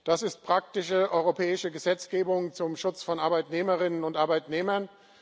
Das ist praktische europäische Gesetzgebung zum Schutz von Arbeitnehmerinnen und Arbeitnehmern.